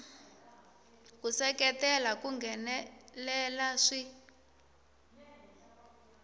ku seketela ku nghenelela swi